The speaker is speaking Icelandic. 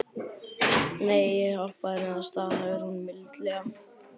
Nei, ég hjálpaði henni, staðhæfir hún mildilega.